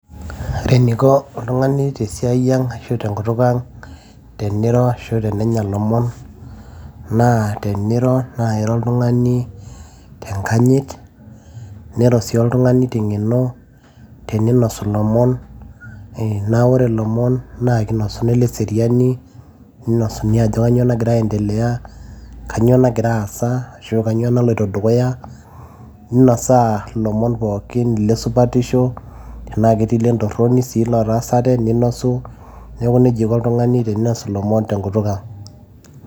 ore eniko oltung'ani tesiai e ang ashu tenkutuk ang teniro ashu tenenya ilomon naa teniro naa airo oltung'ani tenkanyit niro sii oltung'ani teng'eno teninosu ilomon naa ore ilomon naa kinosuni ileseriani ninosuni ajo kanyio nagira ae endelea kanyio nagira aasa ashu kanyio naloito dukuya ninosaa ilomon pookin lesupatisho tenaa ketii lentorroni sii lotaasate ninosu neeku nejia iko oltung'ani teninosu ilomon tenkutuk ang.